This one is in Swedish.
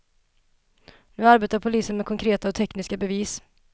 Nu arbetar polisen med konkreta och tekniska bevis.